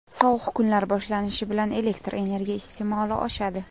Sovuq kunlar boshlanishi bilan elektr energiya iste’moli oshadi.